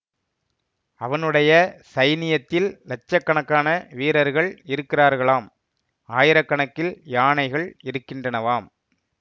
அவனுடைய சைனியத்தில் லட்ச கணக்கான வீரர்கள் இருக்கிறார்களாம் ஆயிர கணக்கில் யானைகள் இருக்கின்றனவாம்